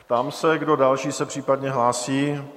Ptám se, kdo další se případně hlásí?